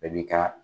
Bɛɛ b'i ka